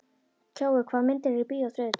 Kjói, hvaða myndir eru í bíó á þriðjudaginn?